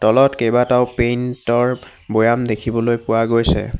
তলত কেবাটাও পেণ্টৰ বয়াম দেখিবলৈ পোৱা গৈছে।